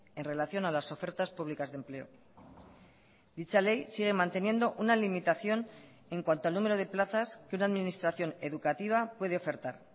en relación a las ofertas públicas de empleo dicha ley sigue manteniendo una limitación en cuanto al número de plazas que una administración educativa puede ofertar